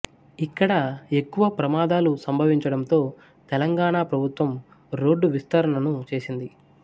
ఇక్కడ ఎక్కువ ప్రమాదాలు సంభవించడంతో తెలంగాణా ప్రభుత్వం రోడ్డు విస్తరణను చేసింది